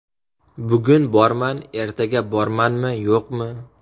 Bugun borman, ertaga bormanmi-yo‘qmi?!